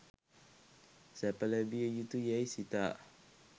සැප ලැබිය යුතු යැයි සිතා